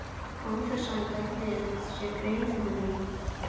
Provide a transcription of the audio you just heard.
Án þess að hann gerði sér grein fyrir því.